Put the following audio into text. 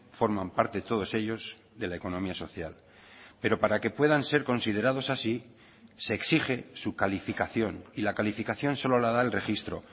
forman parte todos ellos de la economía social pero para que puedan ser considerados así se exige su calificación y la calificación solo la da el registro